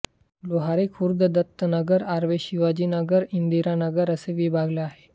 लोहारी खुर्द दत्तनगर आर्वे शिवाजीनगरइंदिरा नगर असे विभागले आहे